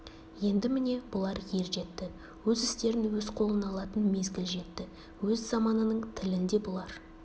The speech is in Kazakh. енді міне бұлар ержетті өз істерін өз қолына алатын мезгіл жетті өз заманының тілін де бұлар